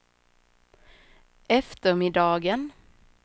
eftermiddagen